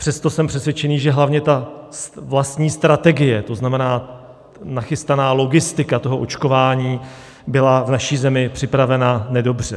Přesto jsem přesvědčen, že hlavně ta vlastní strategie, to znamená nachystaná logistika toho očkování, byla v naší zemi připravena nedobře.